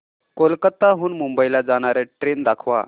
कोलकाता हून मुंबई ला जाणार्या ट्रेन दाखवा